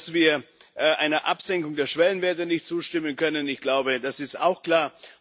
Dass wir einer Absenkung der Schwellenwerte nicht zustimmen können, das ist, glaube ich, auch klar.